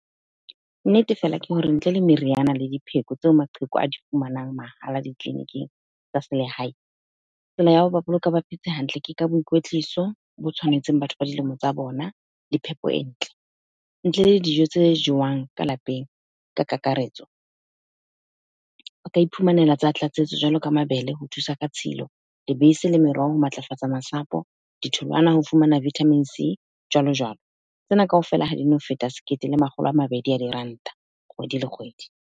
Nnete fela ke hore ntle le meriana le dipheko tseo maqheku a di fumanang mahala ditleliniking tsa selehae. Tsela ya hoba boloka ba phetse hantle ka boikwetliso bo tshwanetseng batho ba dilemo tsa bona le phepo e ntle. Ntle le dijo tse jewang ka lapeng ka kakaretso, o ka iphumanela tsa tlatsetso jwalo ka mabele ho thusa ka tshilo, lebese le meroho ho matlafatsa masapo, ditholwana ho fumana vitamin C jwalo jwalo. Tsena kaofela ha dino feta sekete le makgolo a mabedi a diranta kgwedi le kgwedi.